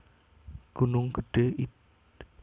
Gunung Gedhé id